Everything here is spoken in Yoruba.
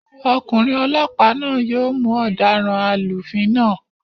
Ọkùnrin olọ́pàá náà yóò mú ọ̀daràn alúfin náà